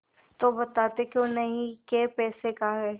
तो बताते क्यों नहीं कै पैसे का है